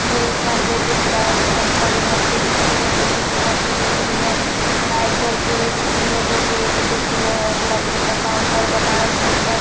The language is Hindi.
यह एक मंदिर दिख रहा है इसमें एक बडी मूर्ति दिख रही है दो छोटे मूर्ति दिख रही है लाईट जलती हुई दिख रही है दो गेट दिख रहे है एक लकड़ी का काउंटर बना हुआ इसके ऊपर --